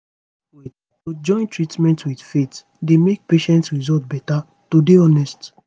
wait - to join treatment with faith dey make patient result beta to dey honest